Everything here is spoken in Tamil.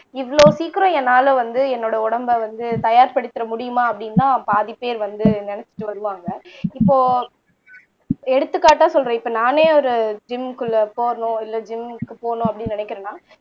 இவ்வளோ சீக்கிரம் என்னால வந்து என்னோட உடம்ப வந்து தயார்படுத்திற முடியுமா அப்படின்னுதான் பாதி பேர் வந்து நினைச்சுட்டு வருவாங்க இப்போ எடுத்துக்காட்டா சொல்றேன் இப்ப நானே ஒரு ஜிம்குள்ள போகணும் இல்ல ஜிம்க்கு போனும் அப்படீன்னு நினைக்கிறன்னா